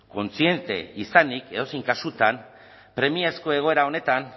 kontziente izanik edozein kasutan premiazko egoera honetan